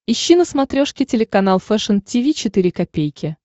ищи на смотрешке телеканал фэшн ти ви четыре ка